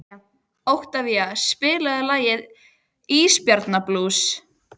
Oktavía, spilaðu lagið „Ísbjarnarblús“.